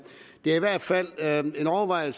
det er i hvert fald værd at overveje